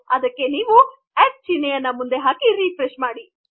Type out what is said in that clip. ಆಗ ನೀವು ಅಟ್ ಚಿಹ್ನೆಯನ್ನು ಮುಂದೆ ಹಾಕಿ ರಿಫ್ರೆಶ್ ಮಾಡಿ